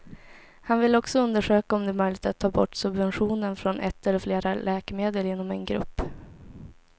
Han vill också undersöka om det är möjligt att ta bort subventionen från ett eller flera läkemedel inom en grupp.